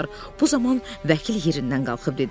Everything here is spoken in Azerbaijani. Bu zaman vəkil yerindən qalxıb dedi: